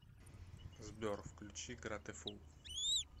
сбер включи гратефул